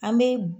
An bɛ